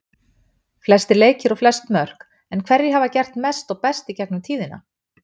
Flestir leikir og flest mörk En hverjir hafa gert mest og best í gegnum tíðina?